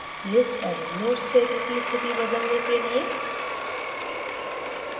list एवं notes क्षेत्र की स्थिति बदलने के लिए